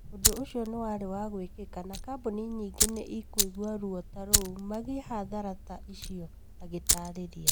ũndũ ũcio nĩ warĩ wa gwĩkĩka na kambũni nyingĩ nĩ ikũigua ruo ta rũu magĩe hathara ta icio, agĩtaarĩria.